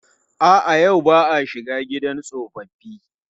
A'a, yau ba a shiga gidan tsofaffi.